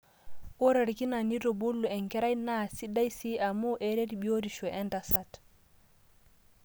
ore orkina nitubulu enkerai naa sidai sii amu eret biotishu entasat